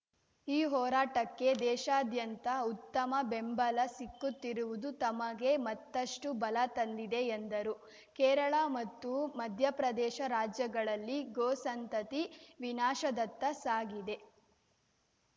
ಈ ಹೋರಾಟಕ್ಕೆ ದೇಶಾದ್ಯಂತ ಉತ್ತಮ ಬೆಂಬಲ ಸಿಕ್ಕುತ್ತಿರುವುದು ತಮಗೆ ಮತ್ತಷ್ಟುಬಲ ತಂದಿದೆ ಎಂದರು ಕೇರಳ ಮತ್ತು ಮಧ್ಯಪ್ರದೇಶ ರಾಜ್ಯಗಳಲ್ಲಿ ಗೋ ಸಂತತಿ ವಿನಾಶದತ್ತ ಸಾಗಿದೆ